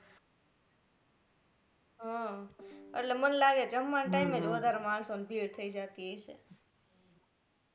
હમ એટલે મને લાગે જમવા ના time એ જ વધારે માણસો ની ભીડ થઇ જાતિ હશે